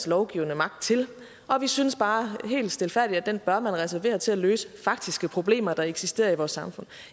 lovgivende magt til og vi synes bare helt stilfærdigt at den bør man reservere til at løse faktiske problemer der eksisterer i vores samfund